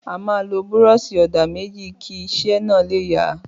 Àma lọ búrọsi òdá méjì kì isẹ na le yà.